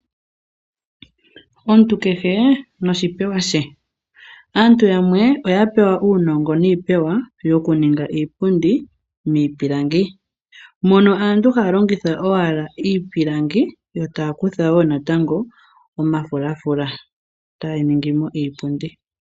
Omuntu kehe noshipewa she aantu yamwe oya pewa uunongo niipewa yoku ninga iipundi miipilangi. Mono aantu haya longitha owala iipilangi yo taya kutha woo natango omafulafula etaya ningimo iipundi.